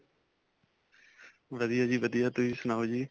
ਵਧੀਆ ਜੀ ਵਧੀਆ, ਤੁਸੀਂ ਸੁਣਾਓ ਜੀ.